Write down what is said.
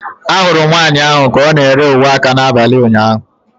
Ahụrụ m nwanyị ahụ ka ọ na-ere uwe aka n'abalị ụnyaahụ.